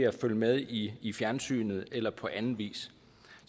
at følge med i i fjernsynet eller på anden vis